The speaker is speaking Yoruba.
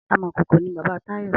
Amòkókó ni bàbá Tayo